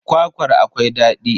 Kwakwar akwai daɗi.